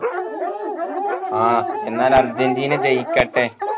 ആഹ് എന്നാൽ അർജൻറീന ജയിക്കട്ടെ